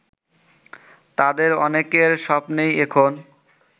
তাদের অনেকের স্বপ্নই এখন